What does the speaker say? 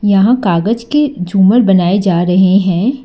यहां कागज के झूमर बनाए जा रहे हैं।